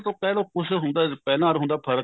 ਤਾਂ ਕਹਿਲੋ ਕੁੱਛ ਹੁੰਦਾ ਪਹਿਲਾਂ or ਹੁਣ ਦਾ ਫਰਕ਼